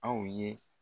Aw ye